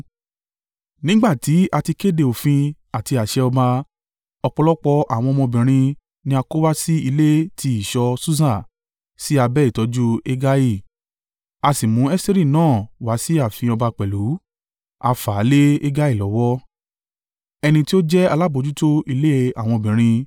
Nígbà tí a ti kéde òfin àti àṣẹ ọba, ọ̀pọ̀lọpọ̀ àwọn ọmọbìnrin ni a kó wá sí ilé ti ìṣọ́ Susa, sí abẹ́ ìtọ́jú Hegai. A sì mú Esteri náà wá sí ààfin ọba pẹ̀lú, a fà á lé Hegai lọ́wọ́, ẹni tí ó jẹ́ alábojútó ilé àwọn obìnrin.